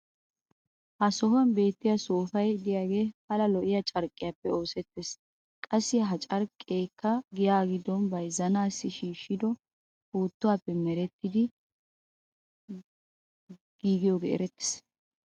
ha sohuwan beettiya soopay diyage pala lo'iyaa carqqiyaappe oosettees. qassi ha carqqeekka giyaa giddon bayzzanaassi shiishshido puuttuwaappe merettidi giigiyoogee erettees.